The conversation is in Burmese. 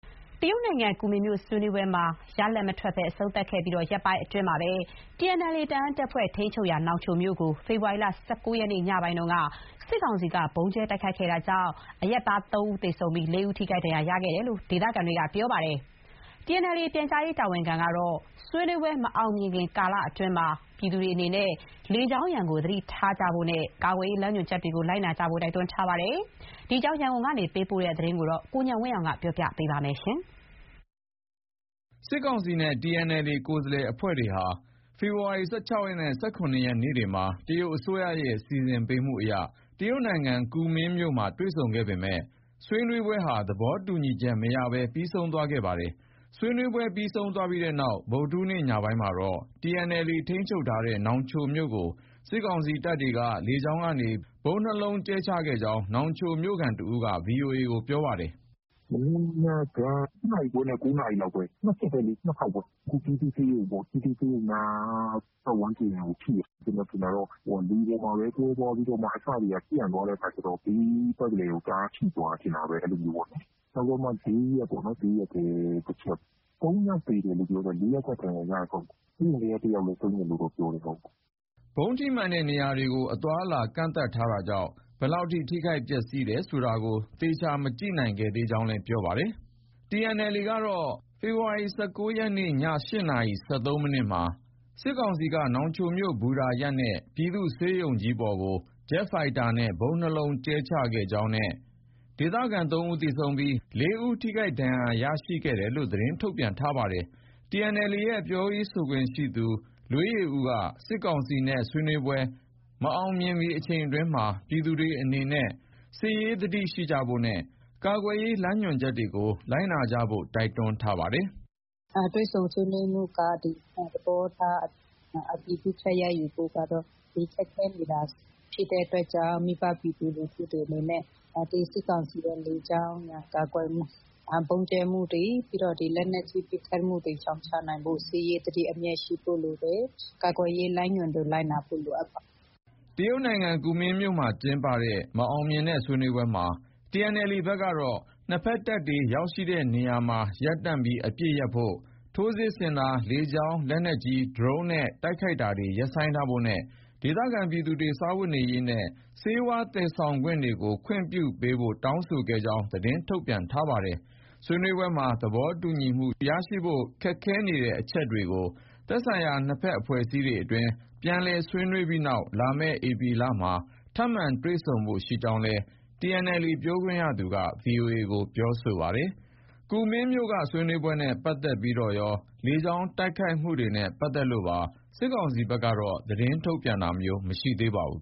တရုတ်နိုင်ငံ ကူမင်းမြို့ ဆွေးနွေးပွဲမှာ ရလဒ်မထွက်ဘဲ အဆုံးသတ်ခဲ့ပြီး ရက်ပိုင်းအတွင်းမှာပဲ TNLA ထိန်းချုပ်ရာ နောင်ချိုမြို့ကို ဖေဖော်ဝါရီလ ၁၉ ရက်နေ့ ညပိုင်းက စစ်ကောင်စီက ဗုံးကြဲ တိုက်ခိုက်ခဲ့တာကြောင့် အရပ်သားတချို့ သေဆုံးပြီး ၄ ဦး ထိခိုက်ဒဏ်ရာရခဲ့ကြောင်း ဒေသခံတွေက ပြောပါတယ်။ TNLA ရဲ့ ပြန်ကြားရေးတာဝန်ခံကတော့ ဆွေးနွေးပွဲ မအောင်မြင်မီ ကာလအတွင်းမှာ ပြည်သူတွေအနေနဲ့ လေကြောင်းရန်ကို သတိထားဖို့နဲ့ ကာကွယ်ရေး လမ်းညွှန်ချက်တွေကို လိုက်နာကြဖို့ တိုက်တွန်းထားပါတယ်။ ဒီအကြောင်း ရန်ကုန်က သတင်းပေးပို့ထားတာပါ။ စစ်ကောင်စီနဲ့ TNLA ကိုယ်စားလှယ်တွေဟာ ဒီလ ၁၆ ရက်နဲ့ ၁၇ ရက် နေ့တွေမှာ တရုတ်အစိုးရရဲ့ စီစဉ်ပေးမှုအရ တရုတ်နိုင်ငံ ကူမင်းမြို့မှာ တွေ့ဆုံခဲ့ပေမဲ့ ဆွေးနွေးပွဲဟာ သဘောတူညီချက် မရခဲ့ပဲ ပြီးဆုံးသွားပါတယ်။ ဆွေးနွေးပွဲ ပြီးဆုံးတဲ့နောက် ဗုဒ္ဓဟူးနေ့ ညပိုင်းမှာတော့ TNLA ထိန်းချုပ်ထားတဲ့ နောင်ချိုမြို့ကို စစ်ကောင်စီက လေကြောင်းကနေ ဗုံး ၂ လုံးကြဲချခဲ့ကြောင်း နောင်ချိုမြို့ခံ တဦးက VOA ကို ပြောပါတယ်။ “ မနေ့ညက ၈ နာရီခွဲနဲ့ ၉ နာရီလောက်ပဲ။ ၂ ချက်ပဲလေ။ ၂ ခေါက်ပဲ။ အခု ပြည်သူ့ဆေးရုံပေါ့။ ပြည်သူ့ဆေးရုံနား ပတ်ဝန်းကျင်ကို ထိတယ်။ ကျနော်ထင်တာတော့ လေပေါ်မှာပဲ ကွဲသွားပြီးတော့မှ အစတွေက ပြန့်သွားတဲ့အခါ ကျတော့ ဘေးပတ်လည်ကို တအားထိသွားတယ် ထင်တာပဲ။ အဲလိုမျိုးပေါ့။ နောက်ပြီးတော့မှ ဈေးရပ်ထဲ တချက်။ ၃ ယောက် သေတယ်လို့ ပြောတယ်။ ၄ ယောက်က ဒဏ်ရာရတယ်။ဆေးရုံထဲက တယောက်လည်း ဆုံးတယ်လို့တော့ ပြောတယ်။ ” ဗုံးထိမှန်တဲ့ နေရာတွေကို အသွားအလာ ကန့်သတ်ထားတာကြောင့် ဘယ်လောက် ထိခိုက်ပျက်စီးတယ် ဆိုတာကို သေချာ မကြည့်နိုင်ခဲ့ကြောင်းလည်း ပြောပါတယ်။ TNLA ကတော့ ဖေဖေါ်ဝါရီ ၁၉ ရက်နေ့ ည ၈ နာရီ ၁၃ မိနစ်မှာ စစ်ကောင်စီတပ်က နောင်ချိုမြို့ ဘူတာရပ်နဲ့ ပြည်သူ့ဆေးရုံပေါ်ကို ဂျက်ဖိုက်တာနဲ့ ဗုံး၂ လုံး ကြဲချခဲ့ကြောင်းနဲ့ ဒေသခံ ၃ ဦးသေဆုံးပြီး ၄ ဦး ထိခိုက်ဒဏ်ရာရခဲ့ကြောင်း သတင်း ထုတ်ပြန်ထားပါတယ်။ TNLA ရဲ့ ပြောရေးဆိုခွင့်ရှိသူ လွေးယေဦးက စစ်ကောင်စီနဲ့ ဆွေးနွေးပွဲ မအောင်မြင်မီ အချိန်အတွင်းမှာ ပြည်သူတွေအနေနဲ့ စစ်ရေးသတိရှိဖို့နဲ့ ကာကွယ်ရေးလမ်းညွှန်ချက်တွေကို လိုက်နာကြဖို့ တိုက်တွန်းထားပါတယ်။ “ တွေ့ဆုံဆွေးနွေးပွဲကတော့ သဘောထား အတည်ပြုချက် ရယူဖို့ကတော့ ခက်ခဲနေတာ ဖြစ်တဲ့အတွက်ကြောင့် မိဘပြည်သူလူထုတွေအနေနဲ့ စစ်ကောင်စီရဲ့ လေကြောင်းရန် ကာကွယ်မှု၊ ဗုံးကြဲမှုတွေ ပြီးတော့ ဒီ လက်နက်ကြီး ပစ်ခတ်မှုတွေ ရှောင်ရှားနိုင်ဖို့ဆို စစ်ရေးသတိ အမြဲရှိဖို့ လိုတယ်။ ကာကွယ်ရေးလမ်းညွှန်တွေ လိုက်နာဖို့ လိုအပ်ပါတယ်။” ကူမင်းမြို့မှာကျင်းပတဲ့ မအောင်မြင်တဲ့ ဆွေးနွေးပွဲမှာ TNLA ဘက်က နှစ်ဘက်တပ်တွေ ရောက်ရှိတဲ့နေရာမှာ ရပ်တန့်ပြီး အပစ်ရပ်ဖို့၊ ထိုးစစ် ဆင်တာ၊ လေကြောင်း လက်နက်ကြီး၊ ဒရုန်းနဲ့ တိုက်ခိုက်တာတွေ ရပ်ဆိုင်းထားဖို့နဲ့ ဒေသခံပြည်သူတွေ စားဝတ်နေရေးနဲ့ ဆေးဝါး သယ်ယူတာတွေကို ခွင့်ပြုပေးဖို့ တောင်းဆိုခဲ့ကြောင်း သတင်းထုတ်ပြန်ထားပါတယ်။ ဆွေးနွေးပွဲမှာ သဘောတူညီမှု ရရှိဖို့ ခက်ခဲနေတဲ့ အချက်တွေကို သက်ဆိုင်ရာ နှစ်ဘက်အဖွဲ့အစည်းအတွင်း ပြန်လည် ဆွေးနွေးပြီးနောက် လာမယ့် ဧပြီလလောက်မှာ ထပ်မံတွေ့ဆုံဖို့ ရှိကြောင်းလည်း TNLA ပြောခွင့်ရသူက VOA ကို ပြောဆိုထားပါတယ်။ ဆွေးနွေးပွဲနဲ့ပတ်သက်ပြီးတော့ရော လေကြောင်းတိုက်ခိုက်မှုနဲ့ ပတ်သက်လို့ပါ စစ်ကောင်စီဘက်ကတော့ သတင်းထုတ်ပြန်တာ မရှိသေးပါဘူး